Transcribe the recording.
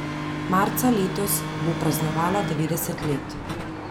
Marca letos bo praznovala devetdeset let.